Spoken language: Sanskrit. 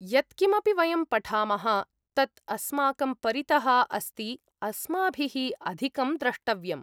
यत् किमपि वयं पठामः, तत् अस्माकं परितः अस्ति, अस्माभिः अधिकं द्रष्टव्यम्।